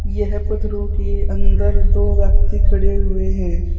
यह पत्थरों के अंदर दो व्यक्ति खड़े हुए हैं।